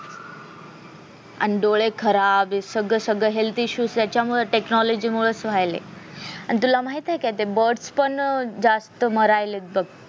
आन डोळे खराब हे सगळं सगळं health issue त्याच्यामुळे technology मूळ होयलय आणि तुला माहित आहे का ते birds पण अं जास्त मरायलेत बग